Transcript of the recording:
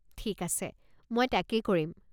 ঠিক আছে, মই তাকেই কৰিম।